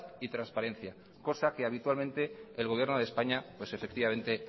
y transparencia cosa que habitualmente el gobierno de españa pues efectivamente